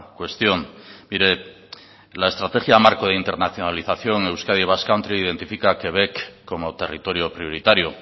cuestión mire la estrategia marco e internacionalización euskadi basque country identifica a quebec como territorio prioritario